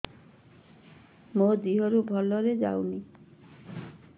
ମୋ ଦିହରୁ ଭଲରେ ଯାଉନି